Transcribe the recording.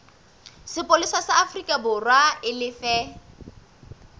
sepolesa sa aforikaborwa e lefe